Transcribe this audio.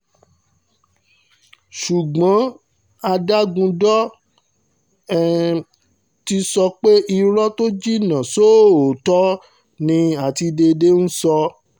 ṣùgbọ́n adágúndọ̀ ti sọ pé irọ́ tó jinná sóòótọ́ ni àtidédè ń sọ